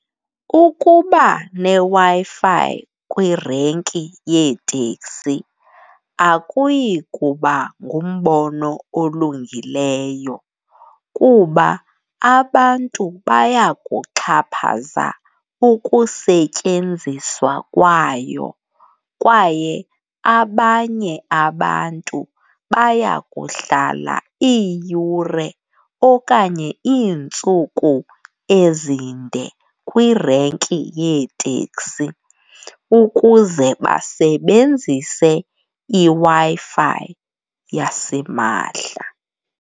Ukuba neWi-Fi kwirenki yeeteksi akuyi kuba ngumbono olungileyo kuba abantu baya kuxhaphaza ukusetyenziswa kwayo, kwaye abanye abantu baya kuhlala iiyure okanye iintsuku ezinde kwirenki yeeteksi ukuze basebenzise iWi-Fi yasimahla.